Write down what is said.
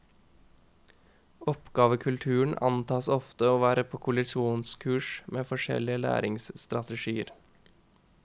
Oppgavekulturen antas ofte å være på kollisjonskurs med forskjellige læringsstrategier.